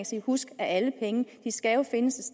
sige husk at alle penge jo skal findes